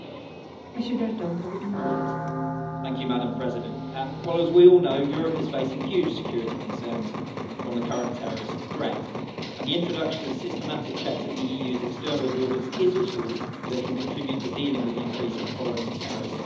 Madam President, as we all know, Europe is facing huge security concerns from the current terrorist threat, and the introduction of systematic checks at the EU's external borders is a tool that can contribute to dealing with the increase in foreign terrorist fighters.